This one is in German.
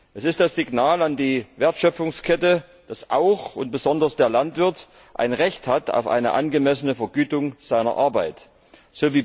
Es ist das Signal an die Wertschöpfungskette, dass auch und besonders der Landwirt ein Recht auf eine angemessene Vergütung seiner Arbeit hat.